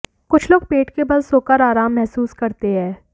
कुछ लोग पेट के बल सोकर आराम महसूस करते हैं